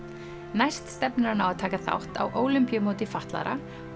næst stefnir hann á að taka þátt á Ólympíumóti fatlaðra